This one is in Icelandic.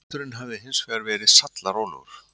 Hesturinn hafi hins vegar verið sallarólegur